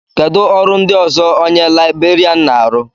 Kedu ọrụ ndị ọzọ onye Libèrián na-arụ?